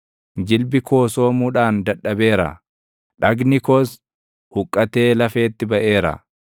Jilbi koo soomuudhaan dadhabeera; dhagni koos huqqatee lafeetti baʼeera.